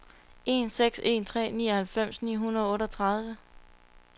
en seks en tre nioghalvfems ni hundrede og otteogtredive